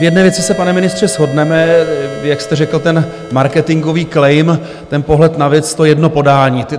V jedné věci se, pane ministře, shodneme, jak jste řekl ten marketingový claim, ten pohled na věc, to jedno podání.